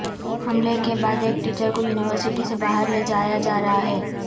حملے کے بعد ایک ٹیچر کو یونیورسٹی سے باہر لے جایا جا رہا ہے